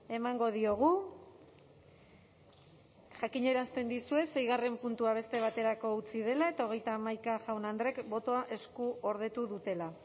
emango diogu jakinarazten dizuet seigarren puntua beste baterako utzi dela eta hogeita hamaika jaun andreek botoa eskuordetu dutela